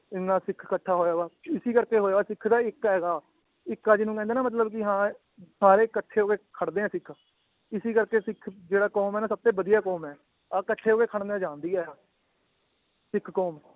ਇੰਨਾ ਸਿੱਖ ਕਠ੍ਹਾ ਹੋਇਆ ਹੋਇਆ ਇਸੀ ਕਰਕੇ ਹੋਇਆ ਹੋਇਆ ਸਿੱਖ ਦਾ ਇੱਕ ਹੈਗਾ ਇਕ ਨੂੰ ਕਹਿੰਦੇ ਨਾ ਮਤਲਬ ਕਿ ਹਾਂ ਸਾਰੇ ਕੱਠੇ ਹੋਕੇ ਖੜਦੇ ਏ ਸਿੱਖ ਇਸੀ ਕਰਕੇ ਸਿੱਖ ਜਿਹੜਾ ਕੌਮ ਏ ਨਾ ਸਬਤੇ ਵਧੀਆ ਕੌਮ ਏ ਆਹ ਕੱਠੇ ਹੋਕੇ ਖੜਨਾ ਜਾਣਦੀ ਏ ਆ ਸਿੱਖ ਕੌਮ